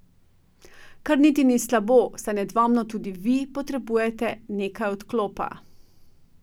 Kar niti ni slabo, saj nedvomno tudi vi potrebujete nekaj odklopa.